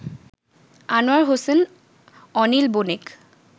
Anwar Hossain, Anil Banik